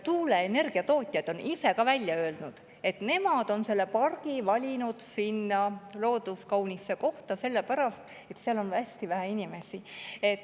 Tuuleenergia tootjad on ise ka välja öelnud, et nad on valinud pargi looduskauni koha sellepärast, et seal on hästi vähe inimesi.